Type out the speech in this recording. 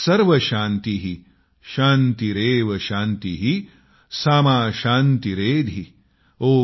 सर्वं शान्तिः शान्तिरेव शान्तिः सामा शान्तिरेधि ।।